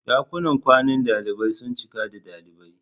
Dakunan kwanan dalibai sun cika da dalibai.